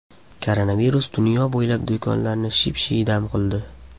Koronavirus dunyo bo‘ylab do‘konlarni ship-shiydam qildi.